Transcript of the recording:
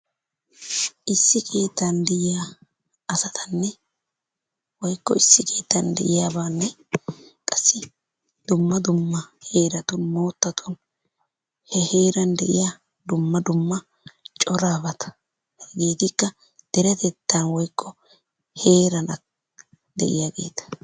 Issi keettan de'iya asatanne woykko issi keettan de"iyabaanne qassi dumma dumma heeratun moottatun he heeran de'iya dumma dumma corabata hegeetikka deretetaa woyikko heeran de'iyaageeta.